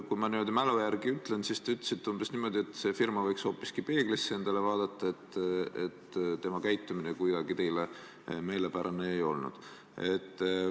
Kui ma mälu järgi ütlen, siis te ütlesite umbes niimoodi, et see firma võiks hoopis peeglisse vaadata, tema käitumine pole teile meelepärane olnud.